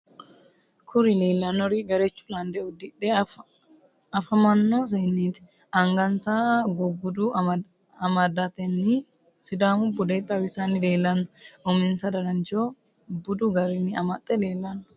kuri leellanori gerechu lande uddidhe afamanno senneti. angansa guggudo amadatenni sidamu bude xawisanni leellanno. uminsa danancho budu garinni amaxe leelanno.